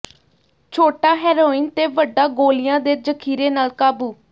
ਛੋਟਾ ਹੈਰੋਇਨ ਤੇ ਵੱਡਾ ਗੋਲੀਆਂ ਦੇ ਜ਼ਖ਼ੀਰੇ ਨਾਲ ਕਾਬੂ